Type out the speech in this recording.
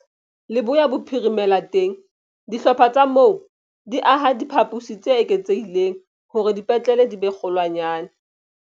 Leboya Bophirimela teng, dihlopha tsa moo di aha diphaposi tse eketsehileng hore dipetlele di be kgolwanyane.